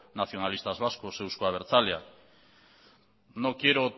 nacionalistas vascos euzko abertzaleak no quiero